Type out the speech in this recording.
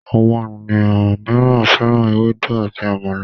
Àwọn ènìyàn míràn féràn Ewédú àti àmàlà.